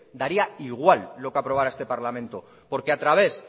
daría igual lo que aprobará este parlamento porque a través